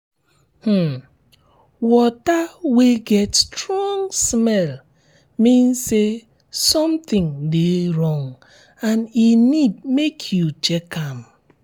um water wey get strong smell mean say something de wrong and e need make you check um am